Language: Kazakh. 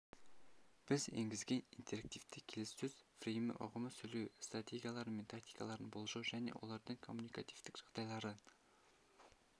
біз енгізген интерактивті келіссөз фреймі ұғымы сөйлеу стратегиялары мен тактикаларын болжау және олардың коммуникативтік жағдайларын